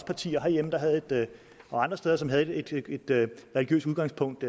partier herhjemme og andre steder som havde et religiøst udgangspunkt